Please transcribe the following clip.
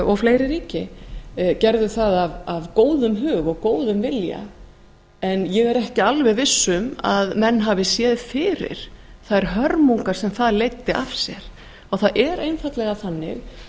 og fleiri ríki gerðu það af góðum hug og góðum vilja en ég er ekki alveg viss um að menn hafi séð fyrir þær hörmungar sem það leiddi af sér og það er einfaldlega þannig